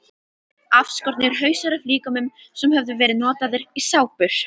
Afskornir hausar af líkömum sem höfðu verið notaðir í sápur.